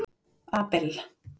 Abel